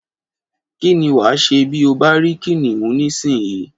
Kí ni wà á ṣe bí ó bá rí Kìnìún nísinyìí?